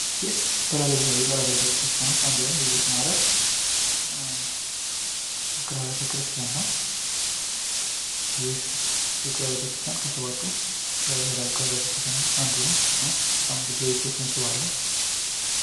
ይህ በላሊበላ ውቅር አብያተ ክርስቲያን ውስጥ አንዱ የሆነው የቤተ ማርያም ውቅር አብያተ ክርስቲያን ነው ። ይህ ውቅር አብያተ ክርስቲያን ከሰባቱ የላሊበላ ውቅር አብያተ ክርስቲያን ውስጥ አንዱ ነው ።እና ብዙ የቱሪስት መስህብ አለው።